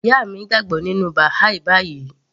Ìyá mi gbàgbọ́ nínú Baha'i báyìí